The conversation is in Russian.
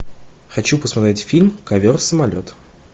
хочу посмотреть фильм ковер самолет